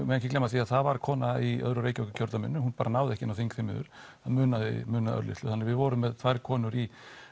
ekki gleyma því að það var kona í öðru Reykjavíkurkjördæminu hún bara náði ekki inn á þing því miður það munaði munaði örlitlu þannig við vorum með tvær konur í